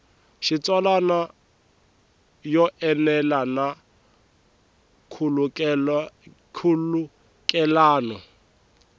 xitsalwana yo enela na nkhulukelano